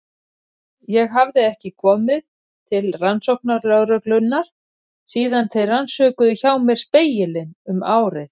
Ég hafði ekki komið til rannsóknarlögreglunnar síðan þeir rannsökuðu hjá mér Spegilinn um árið.